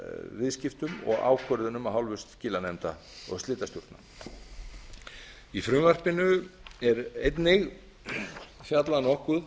viðskiptum og ákvörðunum af hálfu skilanefnda og slitastjórna í frumvarpinu er einnig fjallað nokkuð